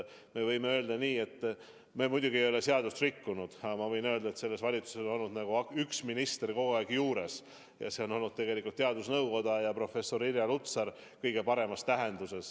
Võib öelda nii, et me muidugi ei ole seadust rikkunud, aga selles valitsuses on olnud nagu üks minister kogu aeg juures – see on olnud teadusnõukoda, eriti professor Irja Lutsar.